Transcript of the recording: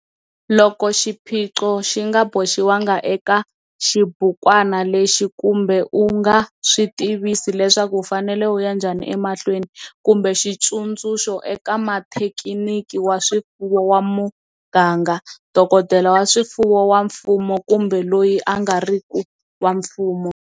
Loko xiphico xi nga boxiwangi eka xibukwana lexi kumbe u nga swi tivisi leswaku u fanele u ya nhjani emahlweni, kumbe xitsundzuxo eka muthekiniki wa swifuwo wa muganga, dokodela wa swifuwo wa mfumo kumbe loyi a nga ri ki wa mfumo.